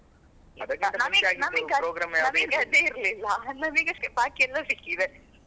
ನಮಗೆ ನಮಗೆ ನಮಗೆ ನಮಗೆ ಅದೇ ಇರಲ್ಲಿಲ್ಲ ನಮಿಗಷ್ಟೇ ನಮಗೆ ಬಾಕಿ ಎಲ್ಲ ಸಿಕ್ಕಿದೆ.